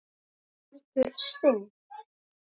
Hann heldur synd